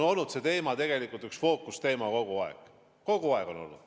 See teema on tegelikult üks fookusteema kogu aeg olnud.